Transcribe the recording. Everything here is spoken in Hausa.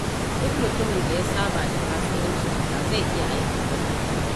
Duk mutumin da ya saba da kasuwanci ba zai iya aikin gwamnati ba.